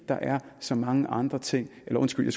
der er så mange andre ting undskyld